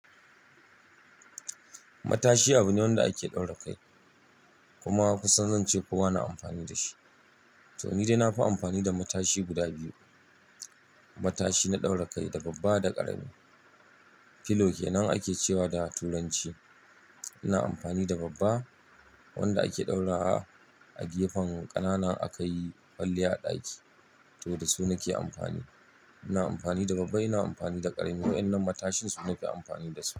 Matashi abu ne wanda ake ɗaura kai. Kuma kusan zan ce kowa na amfani da shi. To ni dai na fi amfani da matashi guda biyu. Matashi na ɗaura kai, da babba da ƙarami. Pillow kenan ake cewa da Turanci. Ina amfani da babba wanda ake ɗaurawa a gefen ƙanana in akayi kwalliya a ɗaki. To da su nake amfani. Ina amfani da babba, ina amfani da ƙarami. Wa'yannan matashin su ne nafi amfani da su.